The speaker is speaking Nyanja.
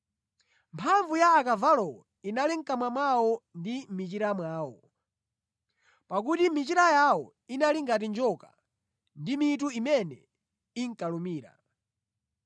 Mphamvu za akavalowo inali mʼkamwa mwawo ndi mʼmichira mwawo; pakuti michira yawo inali ngati njoka; ndi mitu imene inkalumira.